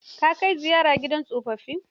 Ka kai ziyara gidan tsofaffin?